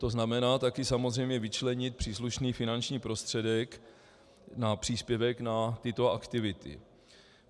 To znamená taky samozřejmě vyčlenit příslušný finanční prostředek na příspěvek na tyto aktivity.